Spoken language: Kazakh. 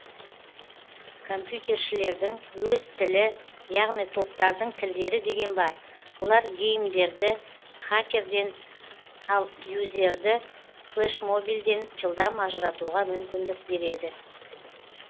компьютершілердің өз тілі яғни топтардың тілдері деген бар олар геймерді хакерден ал юзерді флешмобилден жылдам ажыратуға мүмкіндік береді